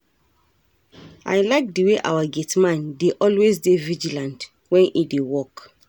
I like the way our gate man dey always dey vigilant wen e dey work